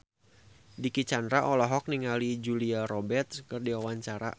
Dicky Chandra olohok ningali Julia Robert keur diwawancara